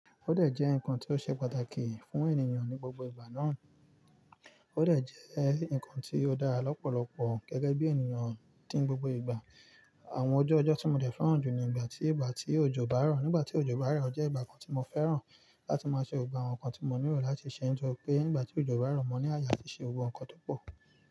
Ó dẹ̀ jẹ́ ǹkan tí ó ṣe pàtàkì fún ènìyàn ní gbogbo ìgbà náà. Ó dẹ̀ jẹ́ ǹkan tí ó dára lọ́pọ̀lọpọ̀ gẹ́gẹ́ bí ènìyàn tí n gbogbo ìgbà. Àwọn ọjọ́ ọjọ́ tí mo dẹ̀ fẹ́ràn jù ni ìgbà tí, ìgbà tí òjò bá rọ̀. Nígbà tí òjò bá ro jẹ́ ìgbà kan tí mo fẹ́ràn láti máa ṣe gbogbo àwọn nǹkan tí mo nílò láti ṣe, nítorí pé nígbà tí òjò bá rọ̀, mo ní àye atí ṣe gbogbo ǹkan tó pọ̀.